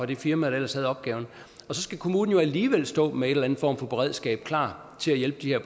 det firma der ellers havde opgaven og så skal kommunen jo alligevel stå med en eller anden form for beredskab klar til at hjælpe de